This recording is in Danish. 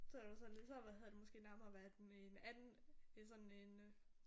Så havde sådan så havde hedder måske nærmere været med en anden øh sådan en øh